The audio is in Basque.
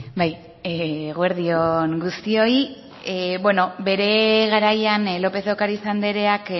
bai eguerdi on guztioi beno bere garaian lopez de ocariz andreak